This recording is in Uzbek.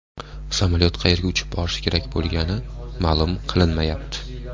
Samolyot qayerga uchib borishi kerak bo‘lgani ma’lum qilinmayapti.